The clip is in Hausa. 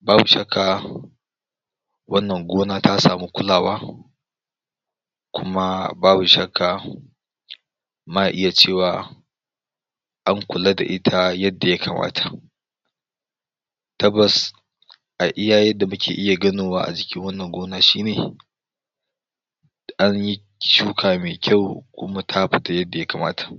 babu shakka wannan gona ta samu kulawa kuma babu shakka ma iya cewa an kula da ita yadda ya kamata tabbas a iya yanda muke iya ganowa a jikin wannan gona shine an yi shuka me kyau kuma ta fiita yadda ya kamata